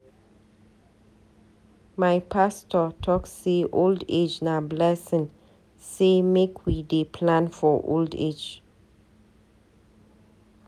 My pastor talk sey old age na blessing sey make we dey plan for old age.